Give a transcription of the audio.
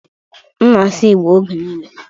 m na-asụ Igbo oge niile